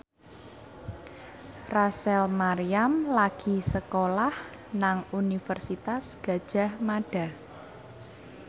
Rachel Maryam lagi sekolah nang Universitas Gadjah Mada